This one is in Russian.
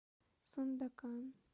сандакан